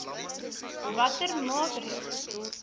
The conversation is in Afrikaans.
watter maatreëls